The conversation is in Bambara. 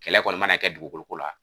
Kɛlɛ kɔni mana kɛ dugukoloko la.